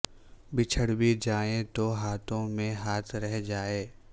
بچھڑ بھی جائیں تو ہاتھوں میں ہاتھ رہ جائے